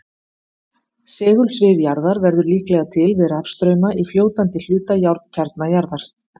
segulsvið jarðar verður líklega til við rafstrauma í fljótandi hluta járnkjarna jarðar